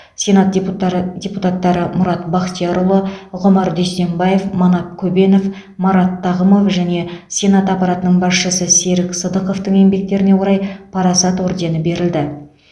сенат депутар депутаттары мұрат бақтиярұлы ғұмар дүйсембаев манап көбенов марат тағымов және сенат аппаратының басшысы серік сыдықовтың еңбектеріне орай парасат ордені берілді